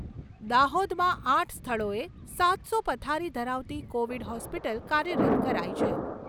દાહોદમાં આઠ સ્થળોએ સાતસો પથારી ધરાવતી કોવિડ હોસ્પિટલ કાર્યરત કરાઈ છે.